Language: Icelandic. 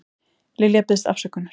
Lilja biðst afsökunar